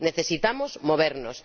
Necesitamos movernos.